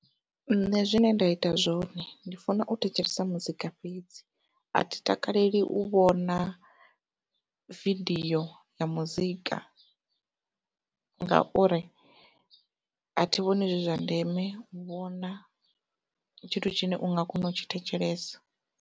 Nṋe zwine nda ita zwone ndi funa u thetshelesa muzika fhedzi, athi takaleli u vhona vidio ya muzika ngauri athi vhoni zwi zwa ndeme u vhona tshithu tshine u nga kona u tshi thetshelesa.